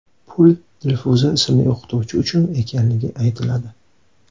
Pul Dilfuza ismli o‘qituvchi uchun ekanligi aytiladi.